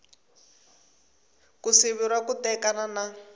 ku siveriwa ku tekana na